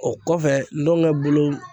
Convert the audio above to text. O kɔfɛ n gɔngɛ bolo